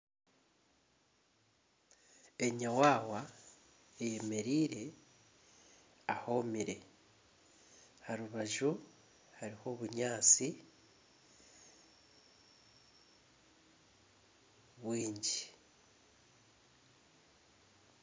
Enyawaawa eyemereire ahomire. Aha rubaju hariho obunyaatsi bwingi.